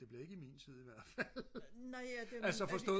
det bliver ikke i min tid ihvertfald altså forstået